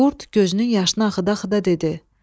Qurd gözünün yaşını axıda-axıda dedi: